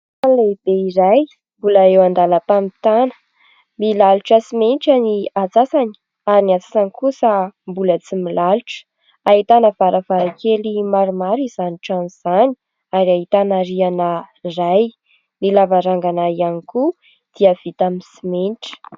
Trano lehibe iray mbola eo an-dalam-pamitana milalotra simenitra ny antsasany ary ny antsasany kosa mbola tsy milalotra. Ahitana varavarankely maromaro izany trano izany ary ahitana rihana iray, ny lavarangana ihany koa dia vita amin'ny simenitra.